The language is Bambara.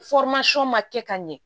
ma kɛ ka ɲɛ